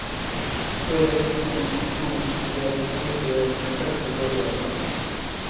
tre to to en nittien seks hundre og trettifem